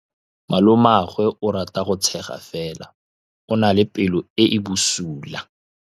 Malomagwe o rata go tshega fela o na le pelo e e bosula.